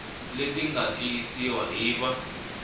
leti nga tiyisiwa hi va